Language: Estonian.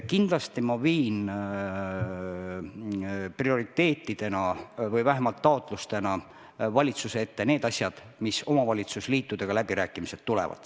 Kindlasti viin ma prioriteetidena või vähemalt taotlustena valitsuse ette need asjad, mis omavalitsusliitudega läbirääkimisele tulevad.